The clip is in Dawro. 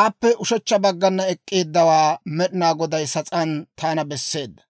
aappe ushechcha baggana ek'k'eeddawaa Med'inaa Goday sas'aan taana besseedda.